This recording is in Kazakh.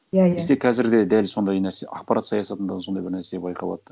иә иә бізде қазір де дәл сондай нәрсе ақпарат саясатында да сондай бір нәрсе байқалады да